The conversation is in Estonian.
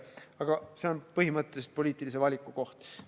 Aga see on põhimõtteliselt poliitilise valiku koht.